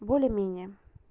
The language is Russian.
более-менее